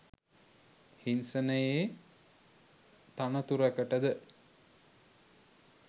හිංසනයේ තනතුරකට ද